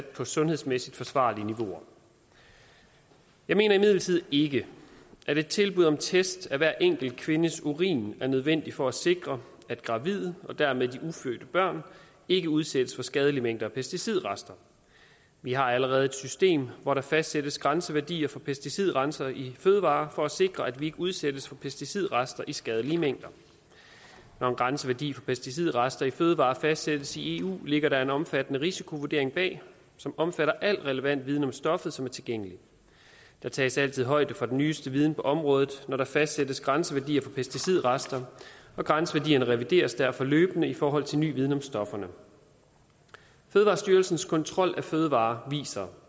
på sundhedsmæssigt forsvarlige niveauer jeg mener imidlertid ikke at et tilbud om test af hver enkelt kvindes urin er nødvendigt for at sikre at gravide og dermed de ufødte børn ikke udsættes for skadelige mængder af pesticidrester vi har allerede et system hvor der fastsættes grænseværdier for pesticidrester i fødevarer for at sikre at vi ikke udsættes for pesticidrester i skadelige mængder når en grænseværdi for pesticidrester i fødevarer fastsættes i eu ligger der en omfattende risikovurdering bag som omfatter al relevant viden om stoffet som er tilgængelig der tages altid højde for den nyeste viden på området når der fastsættes grænseværdier for pesticidrester og grænseværdierne revideres derfor løbende i forhold til ny viden om stofferne fødevarestyrelsens kontrol af fødevarer viser